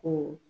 Ko